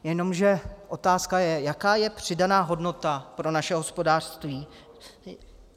Jenomže otázka je: Jaká je přidaná hodnota pro naše hospodářství?